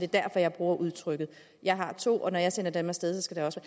derfor jeg bruger udtrykket jeg har to børn og når jeg sender dem af sted skal det også